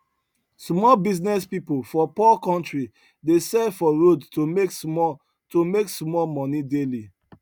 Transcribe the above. small business people for poor country dey sell for road to make small to make small money daily